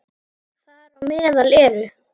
Þar á meðal eru